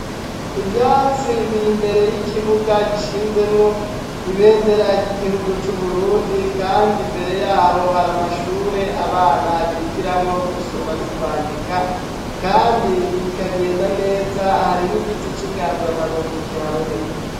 Ivyatsi biri mbere y'ikibuga gishinzemwo ibendera ry'igihugu c'Uburundi kandi mbere yaho hari amashure abana bigiramwo gusoma no kwandika kandi bikagenda neza hari n'igiti c'inganzamarumbu kihaboneka.